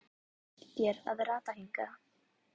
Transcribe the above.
Hvernig gekk þér að rata hingað?